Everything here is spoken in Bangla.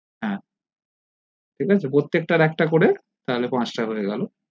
হ্যা ঠিক আছে প্রত্যেকটার একটা করে তালে পাঁচটা হয়ে গেলো